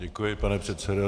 Děkuji, pane předsedo.